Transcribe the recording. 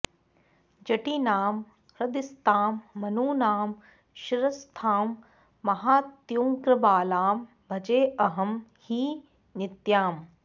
जटीनां हृदिस्थां मनूनां शिरःस्थां महात्युग्रबालां भजेऽहं हि नित्याम्